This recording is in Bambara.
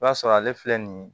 I b'a sɔrɔ ale filɛ nin ye